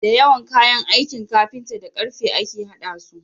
Dayawan kayan aikin carpinta da karfe ake hada su